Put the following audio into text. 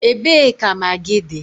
Ebee ka magịị dị?